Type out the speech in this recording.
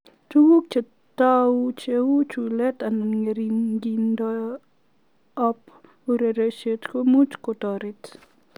Tuguk cheatagu, cheu chuleet anan ngeringindoop ureriosiek, komuuch kotoreet